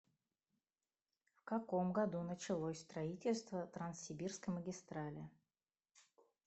в каком году началось строительство транссибирской магистрали